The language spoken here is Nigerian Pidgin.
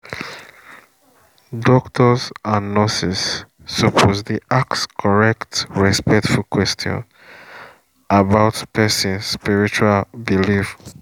doctors and nurses suppose dey ask correct respectful question about person spiritual belief